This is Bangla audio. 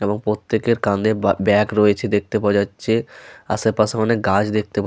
এবং প্রত্যেকের কাঁধে বা ব্যাগ রয়েছে দেখতে পাওয়া যাচ্ছে। আশেপাশে অনেক গাছ দেখতে পা--